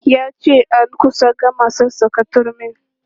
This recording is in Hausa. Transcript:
Ya ce an kusa gama sassaka turmin.